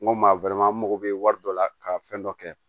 N ko maa n mago bɛ wari dɔ la ka fɛn dɔ kɛ